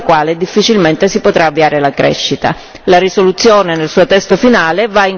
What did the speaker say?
La risoluzione nel suo testo finale va in questa direzione ed è per questo motivo che ho votato a favore.